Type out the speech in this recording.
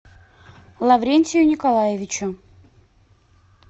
лаврентию николаевичу